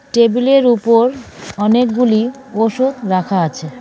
টেবিলের উপর অনেকগুলি ওষুধ রাখা আছে.